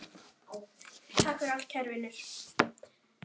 Tæpri viku seinna varstu farinn.